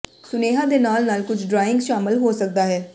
ਸੁਨੇਹਾ ਦੇ ਨਾਲ ਨਾਲ ਕੁਝ ਡਰਾਇੰਗ ਸ਼ਾਮਲ ਹੋ ਸਕਦਾ ਹੈ